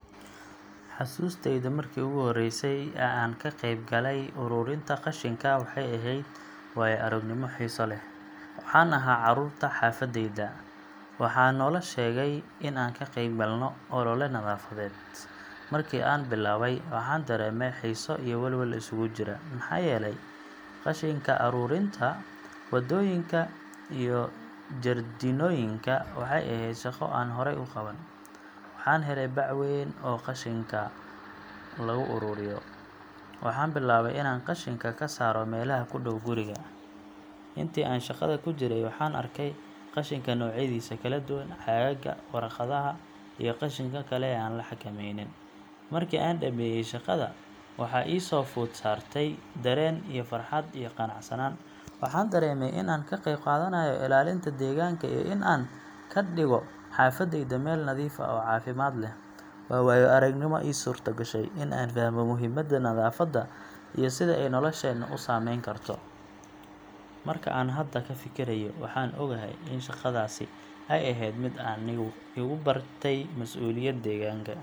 Xusuusteyda markii ugu horreysay ee aan ka qayb galay ururinta qashinka waxay ahayd waayo-aragnimo xiiso leh. Waxaan ahaa carruurta xaafadeyda, waxaana naloo sheegay in aan ka qeyb galno olole nadaafadeed. Markii aan bilaabay, waxaan dareemay xiiso iyo welwel isugu jira, maxaa yeelay, qashinka ka ururinta wadooyinka iyo jardiinooyinka waxay ahayd shaqo aan horey u qaban. Waxaan helay bac weyn oo qashinka lagu ururiyo, waxaana bilaabay inaan qashinka ka saaro meelaha ku dhow guriga. Intii aan shaqada ku jiray, waxaan arkay qashinka noocyadiisa kala duwan caagagga, waraaqaha, iyo qashinka kale ee aan la xakamaynin. Markii aan dhammeeyay shaqada, waxaa i soo food saartay dareen farxad iyo qanacsanaan. Waxaan dareemay in aan ka qayb qaadanayo ilaalinta deegaanka iyo in aan ka dhigo xaafadayda meel nadiif ah oo caafimaad leh. Waa waayo-aragnimo ii suurtogashay in aan fahmo muhiimadda nadaafadda iyo sida ay nolosheena u saameyn karto. Marka aan hadda ka fikirayo, waxaan ogahay in shaqadaas ay ahayd mid aniga igu baratay mas’uuliyadda deegaanka.